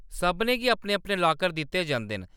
सभनें गी अपने-अपने लाकर दित्ते जंदे न।